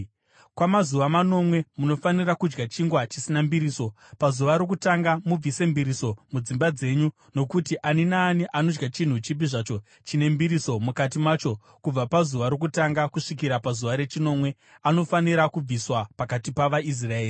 Kwamazuva manomwe, munofanira kudya chingwa chisina mbiriso. Pazuva rokutanga mubvise mbiriso mudzimba dzenyu, nokuti ani naani anodya chinhu chipi zvacho chine mbiriso mukati macho kubva pazuva rokutanga kusvikira pazuva rechinomwe anofanira kubviswa pakati pavaIsraeri.